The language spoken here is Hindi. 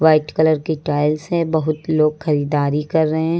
व्हाइट कलर की टाइल्स है बहुत लोग खरीदारी कर रहे--